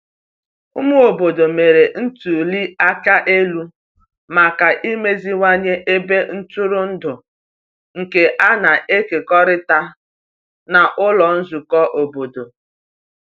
Ụmụ obodo mere ntuli aka elu maka imeziwanye ebe ntụrụndụ nke a na-ekekọrịta n’ụlọ nzukọ obodo.